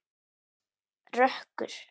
Það er rökkur.